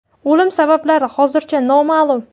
O‘lim sabablari hozircha noma’lum.